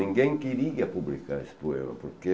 Ninguém queria publicar esse poema, porque...